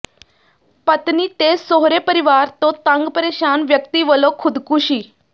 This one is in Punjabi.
ਪਤਨੀ ਤੇ ਸਹੁਰੇ ਪਰਿਵਾਰ ਤੋਂ ਤੰਗ ਪਰੇਸ਼ਾਨ ਵਿਅਕਤੀ ਵਲੋਂ ਖ਼ੁਦਕੁਸ਼ੀ